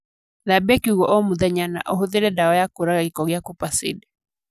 Thambia kiugũ o mũthenya na ũhũthĩre dawa ya kũraga gĩko ya KUPACIDE